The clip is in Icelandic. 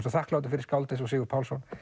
svo þakklátur fyrir skáld eins og Sigurð Pálsson